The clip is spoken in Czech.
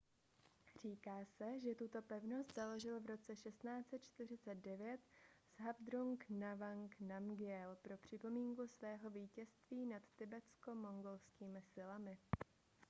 říká se že tuto pevnost založil v roce 1649 zhabdrung ngawang namgyel pro připomínku svého vítězství nad tibetsko-mongolskými silami